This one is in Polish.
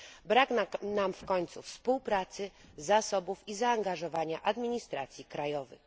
Brak nam w końcu współpracy, zasobów i zaangażowania administracji krajowych.